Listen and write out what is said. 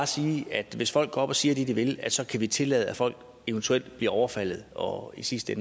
sige at hvis folk går op og siger det de vil at så kan vi tillade at folk eventuelt bliver overfaldet og i sidste